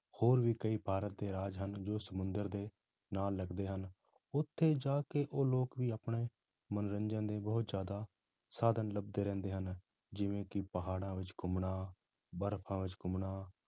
ਹੋਰ ਵੀ ਕਈ ਭਾਰਤ ਦੇ ਰਾਜ ਹਨ ਜੋ ਸਮੁੰਦਰ ਦੇ ਨਾਲ ਲੱਗਦੇ ਹਨ, ਉੱਥੇ ਜਾ ਕੇ ਉਹ ਲੋਕ ਵੀ ਆਪਣੇ ਮਨੋਰੰਜਨ ਦੇ ਬਹੁਤ ਜ਼ਿਆਦਾ ਸਾਧਨ ਲੱਭਦੇ ਰਹਿੰਦੇ ਹਨ, ਜਿਵੇਂ ਕਿ ਪਹਾੜਾਂ ਵਿੱਚ ਘੁੰਮਣਾ, ਬਰਫ਼ਾਂ ਵਿੱਚ ਘੁੰਮਣਾ